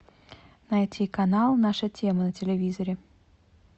найти канал наша тема на телевизоре